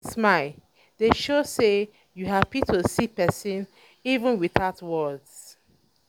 big smile dey um show sey you hapi to see persin even witout words.